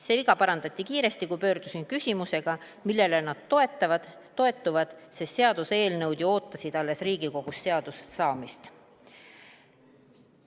See viga parandati kiiresti, kui pöördusin küsimusega, millele nad toetuvad, sest seaduseelnõud ju ootasid alles Riigikogus seaduseks saamist.